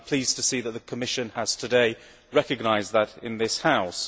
I am pleased to see that the Commission has today recognised that in this House.